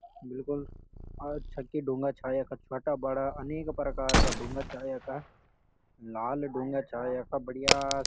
बिलकुल आ छकी ढुंगा छा यखा छवटा-बड़ा अनेक प्रकार का ढुंगा छा यख। लाल ढुंगा छा यखा बढ़िया।